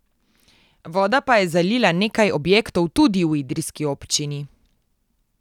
Voda pa je zalila nekaj objektov tudi v idrijski občini.